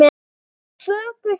Það er fögur sýn.